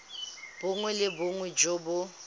bongwe le bongwe jo bo